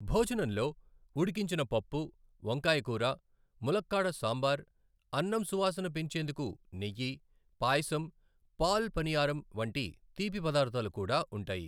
భోజనంలో ఉడికించిన పప్పు, వంకాయ కూర, ములక్కాడ సాంబార్, అన్నం సువాసన పెంచేందుకు నెయ్యి, పాయసం, పాల్ పనియారం వంటి తీపి పదార్థాలు కూడా ఉంటాయి.